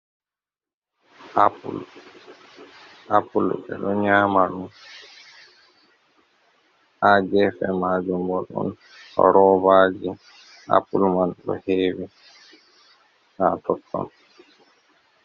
Appul, Appul beɗo nyamaɗum, ha gefe majun bo ɗon rovaji appul man ɗo hewi ha totton.